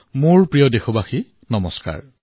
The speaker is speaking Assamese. মোৰ মৰমৰ দেশবাসী নমস্কাৰ